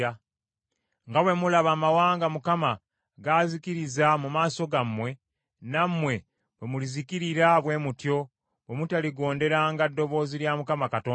Nga bwe mulaba amawanga Mukama g’azikiriza mu maaso gammwe, nammwe bwe mulizikirira bwe mutyo, bwe mutaligonderanga ddoboozi lya Mukama Katonda wammwe.”